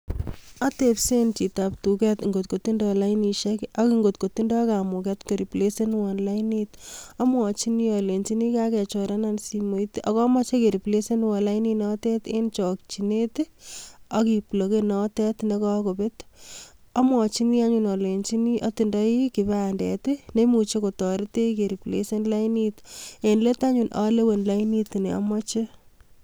Atebseen chitab tuket ngot kotindoi lainishiek ,ak ingot kotindo kamuget koreplasenuon lainit, amwochini alenyini ane kokakichora simoit ak amoche ariplasen lainit notet en chokchinet I,ak kibloken notet nekokoobet, amwochini anyone alenyii atinye kipandet neimuche kotoreton ariplesen laini note ak yeityo alewen lainit neomoche